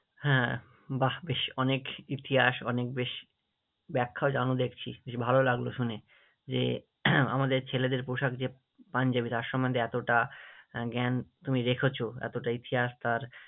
হ্যাঁ, বাহ্ বেশ অনেক ইতিহাস অনেক বেশ ব্যাখ্যাও জানো দেখছি, ভালো লাগলো শুনে যে আমাদের ছেলেদের পোশাক যে পাঞ্জাবি, যার সম্মন্ধে এতটা আহ জ্ঞান তুমি রেখেছো, এতটা ইতিহাস তার